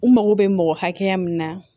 U mago bɛ mɔgɔ hakɛ min na